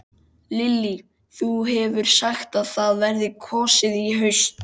Lillý: Þú hefur sagt að það verði kosið í haust?